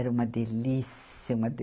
Era uma delícia. Uma de